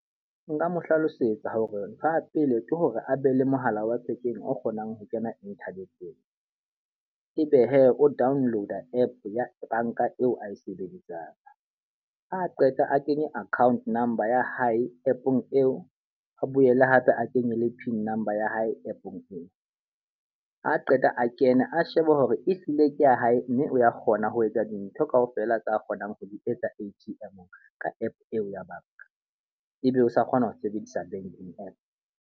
Nka mo hlalosetsa hore ntho ya pele ke hore a be le mohala wa thekeng o kgonang ho kena internet-eng. E be he o download app ya banka eo a e sebedisang. A qeta a kenye account number ya hae app-ong eo a boele hape a kenye le pin number ya hae app-ong eo. A qeta a kene a sheba hore ehlile ke ya hae, mme o ya kgona ho etsa dintho ka ofela tse kgonang ho di etsa A_T_M ka app eo ya banka. E be o sa kgona ho sebedisa banking app.